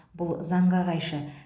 бұл заңға қайшы